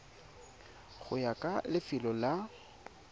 go ya ka lefelo la